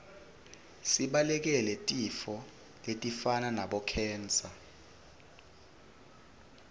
sibalekele tifo letifana nabo khensa